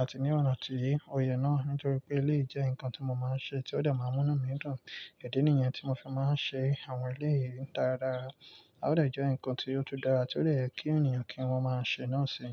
àti ní ọ̀nà tí oyè náà, nítorí pé elé yi jẹ́ nǹkan tí mo máa ń ṣe tí ó dẹ̀ máa ń múnú mi dùn. Idí nìyẹn tí mo fi máa ń ṣe àwọn elé yì dára dára. A ó dẹ̀ jẹ́ nǹkan tí ó tun dára tí ó de yẹ kí ènìyàn kí wọ́n máa ṣe náà ṣi.